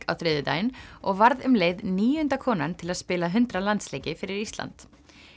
á þriðjudaginn og varð um leið níunda konan til að spila hundrað landsleiki fyrir Ísland